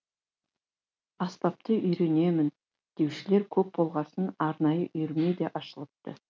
аспапты үйренемін деушілер көп болғасын арнайы үйірме де ашылыпты